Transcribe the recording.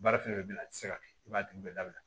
Baara fɛn fɛn bɛ yen nɔ a tɛ se ka kɛ i b'a dun u bɛɛ dabila